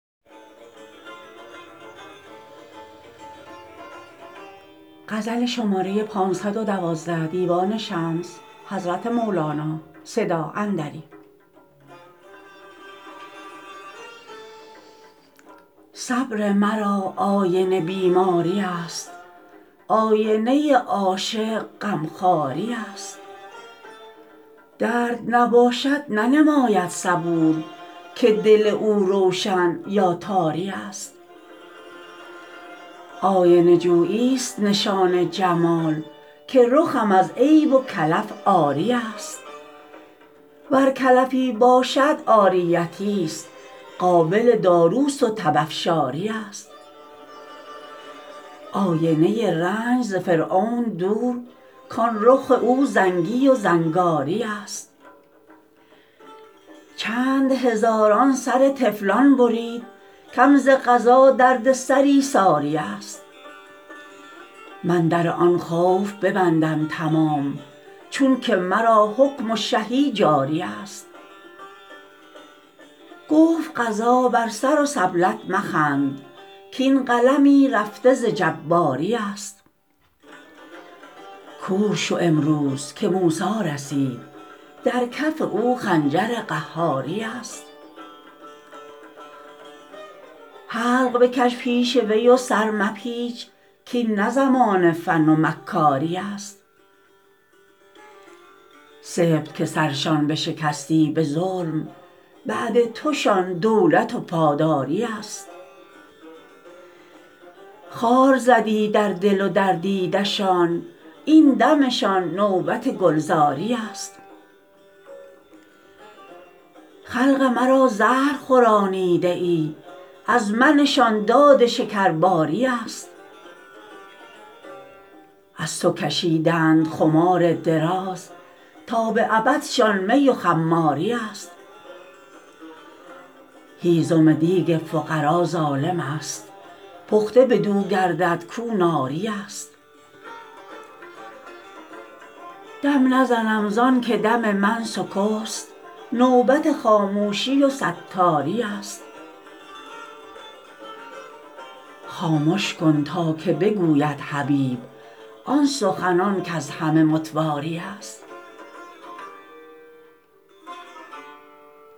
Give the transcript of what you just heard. صبر مرا آینه بیماریست آینه عاشق غمخواریست درد نباشد ننماید صبور که دل او روشن یا تاریست آینه جویی ست نشان جمال که رخم از عیب و کلف عاریست ور کلفی باشد عاریتیست قابل داروست و تب افشاریست آینه رنج ز فرعون دور کان رخ او رنگی و زنگاریست چند هزاران سر طفلان برید کم ز قضا دردسری ساریست من در آن خوف ببندم تمام چون که مرا حکم و شهی جاریست گفت قضا بر سر و سبلت مخند کاین قلمی رفته ز جباریست کور شو امروز که موسی رسید در کف او خنجر قهاریست حلق بکش پیش وی و سر مپیچ کاین نه زمان فن و مکاریست سبط که سرشان بشکستی به ظلم بعد توشان دولت و پاداریست خار زدی در دل و در دیدشان این دمشان نوبت گلزاریست خلق مرا زهر خورانیده ای از منشان داد شکرباریست از تو کشیدند خمار دراز تا به ابدشان می و خماریست هیزم دیک فقرا ظالمست پخته بدو گردد کو ناریست دم نزدم زان که دم من سکست نوبت خاموشی و ستاریست خامش کن که تا بگوید حبیب آن سخنان کز همه متواریست